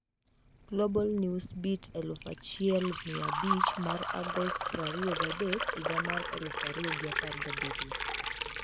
Global Newsbeat 1500 mar Agost 23, 2017